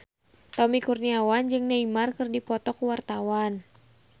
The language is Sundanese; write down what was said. Tommy Kurniawan jeung Neymar keur dipoto ku wartawan